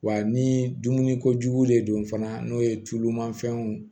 Wa ni dumuni kojugu de don fana n'o ye tulumafɛnw